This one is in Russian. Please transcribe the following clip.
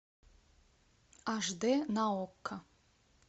аш дэ на окко